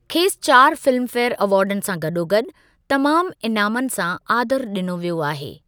खेसि चारि फिल्मफेयर अवार्डनि सां गॾोगॾु तमामु इनामनि सां आदरु ॾिनो वियो आहे।